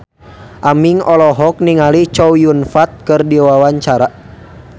Aming olohok ningali Chow Yun Fat keur diwawancara